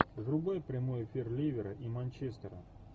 врубай прямой эфир ливера и манчестера